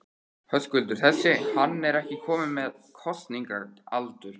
Höskuldur: Þessi, hann er ekki kominn með kosningaaldur?